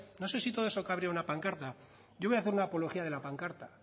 no sé si todo eso cabría en una pancarta yo voy a hacer una apología de la pancarta